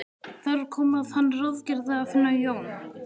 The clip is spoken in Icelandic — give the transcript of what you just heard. Þar kom að hann ráðgerði að finna Jón